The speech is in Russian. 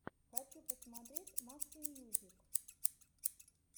хочу посмотреть максимьюзик